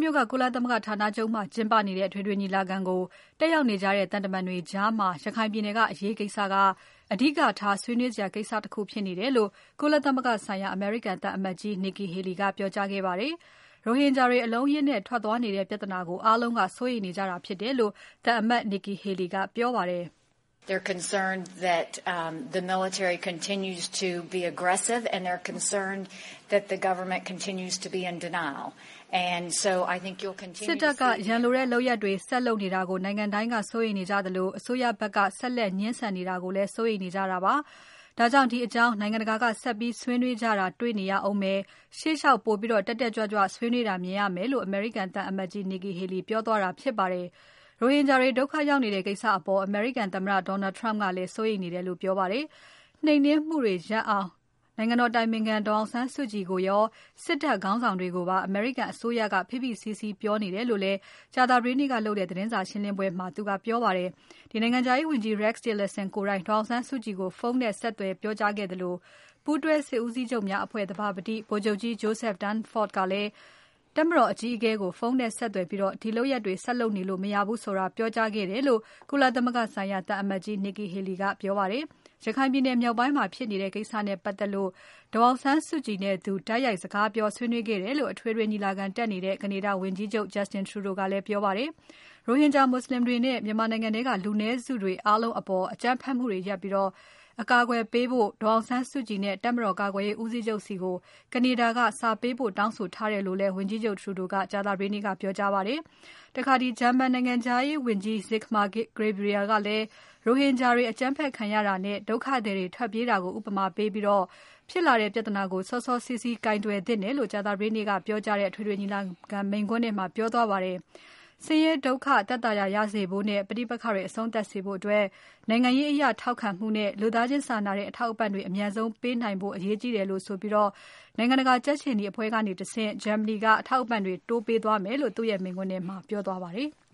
မြို့က ကုလသမဂ္ဂဌာနချုပ်မှာကျင်းပနေတဲ့ အထွေထွေညီလာခံကို တက်ရောက်နေတဲ့ သံတမန်တွေကြား ရခိုင်ပြည်နယ်ကအရေးကိစ္စက အဓိကထား ဆွေးနွေးစရာကိစ္စတခုဖြစ်နေတယ်လို့ ကုလသမဂ္ဂဆိုင်ရာ အမေရိကန်သံအမတ်ကြီး Nikki Haley ကပြောကြားခဲ့ပါတယ်။ ရိုဟင်ဂျာတွေ အလုံးအရင်းနဲ့ ထွက်သွားနေတဲ့ပြဿနာကို အားလုံးက စိုးရိမ်နေကြတာဖြစ်တယ်လို့ သံအမတ် Nikki Haley ကပြောပါတယ်။ "စစ်တပ်က ရန်လိုတဲ့လုပ်ရပ်တွေ ဆက်လုပ်နေတာကို နိုင်ငံတိုင်းက စိုးရိမ်နေကြသလို။ အစိုးရဖက်က ဆက်လက်ငြင်းဆန်နေတာကို စိုးရိမ်နေကြတာပါ။ ဒါကြောင့် ဒီအကြောင်းနိုင်ငံတကာက ဆက်ပြီးဆွေးနွေးကြတာ တေ့ွနေရဦးမယ်။ ရှေ့လျှောက် ပိုပြီးတက်တက်ကြွကြွဆွေးနွေးတာမြင်ရမယ်လို့ " အမေရိကန်သံအမတ်ကြီး Nikki Haley ပြောသွားတာဖြစ်ပါတယ်။ ရိုဟင်ဂျာတွေ ဒုက္ခရောက်နေတဲ့ ကိစ္စအပေါ် အမေရိကန်သမ္မတ Donald Trump ကလည်း စိုးရိမ်နေတယ်လို့ ပြောပါတယ်။ နှိမ်နှင်းမှုတွေရပ်အောင် နိုင်ငံတော်အတိုင်ပင်ခံ ဒေါ်အောင်ဆန်းစုကြည်ကိုရော စစ်တပ်ခေါင်းဆောင်တွေကိုပါ အမေရိကန်အစိုးရက ဖိဖိစည်းစည်းပြောနေတယ်လို့လည်း ကြာသပတေးနေ့က သတင်းစာရှင်းပွဲမှာ ပြောသွားပါတယ်။ နိုင်ငံခြားရေးဝန်ကြီး Rex Tillerson ကိုယ်တိုင် ဒေါ်အောင်ဆန်းစုကြည်ကို ဖုန်းနဲ့ဆက်သွယ် ပြောကြားခဲ့သလို ပူးတွဲစစ်ဦးစီးချုပ်များအဖွဲ့ သဘာပတိဗိုလ်ချုပ်ကြီး Joseph Dunford ကလည်း တပ်မတော်အကြီးအကဲကို ဖုန်းနဲ့ဆက်သွယ်ပြီး ဒီလုပ်ရပ်တွေဆက်လုပ်နေလို့မရဘူးဆိုတာ ပြောကြားခဲ့တယ်လို့ ကုလသမဂ္ဂဆိုင်ရာ အသံအမတ်ကြီး Nikki Haley ကပြောကြားခဲ့ပါတယ်။ ရခိုင်မြောက်ပိုင်းမှာဖြစ်နေတဲ့ ကိစ္စနဲ့ပတ်သက်လို့ ဒေါ်အောင်ဆန်းစုကြည်နဲ့သူ တိုက်ရိုက်စကားပြော ဆွေးနွေးခဲ့တယ်လို့ အထွေထွေညီလာခံတက်နေတဲ့ ကနေဒါဝန်ကြီးချုပ် Justin Trudeau ကပြောပါတယ်။ ရိုဟင်ဂျာ မူဆလင်တွေနဲ့ မြန်မာနိုင်ငံထဲက လူနည်းစုတွေအားလုံးအပေါ် အကြမ်းဖက်မှုတွေရပ်ပြီး အကာအကွယ်ပေးဖို့ ဒေါ်အောင်ဆန်းစုကြည်နဲ့ တပ်မတော်ကာကွယ်ရေးဦးစီးချုပ်ဆီကို ကနေဒါက စာပေးပို့တောင်းဆိုထားတယ်လို့လည်း ဝန်ကြီးချုပ် Trudeau ကကြာသပတေးနေ့က ပြောကြားခဲ့ပါတယ်။ ဂျာမန်နိုင်ငံခြားရေးဝန်ကြီး Sigmar Gabriel ကလည်း ရိုဟင်ဂျာတွေအကြမ်းဖက်ခံရတာနဲ့ ဒုက္ခသည်တွေထွက်ပြေးတာကို ဥပမာပေးပြီး ဖြစ်လာတဲ့ပြဿနာကို စောစောစီးစီးကိုင်တွယ်သင့်တယ်လို့ကြာသပတေးနေ့က ပြောကြားတဲ့ အထွေထွေညီလာခံမိန့်ခွန်းထဲမှာ ပြောသွားပါတယ်။ ဆင်းရဲ ဒုက္ခသက်သာရ ရစေဖို့နဲ့ ပဋိက္ခတွေအဆုံးသပ်စေဖို့ နိုင်ငံရေးအရထောက်ခံမှုနဲ့ လူသားချင်းစာနာတဲ့ အထောက်အပံ့တွေ အမြန်ဆုံးပေးနိုင်ဖို့ အရေးကြီးတယ်လို့ဆိုပြီး နိုင်ငံတကာကြက်ခြေနီအဖွဲ့ကတဆင့် ဂျာမနီက အထောက်အပံ့တွေ တိုးပေးသွားမယ်လို့ မိန့်ခွန်းထဲမှာ ပြောသွားပါတယ်။